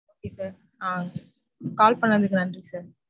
okay sir. Ah call பண்ணதுக்கு நன்றி sir.